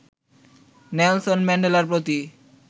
Nelson ম্যান্ডেলার প্রতি